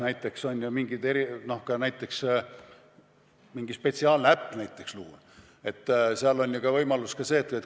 Näiteks saab luua ka mingi spetsiaalse äpi.